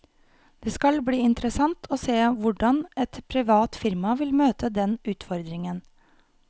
Det skal bli interessant å se hvordan et privat firma vil møte den utfordringen.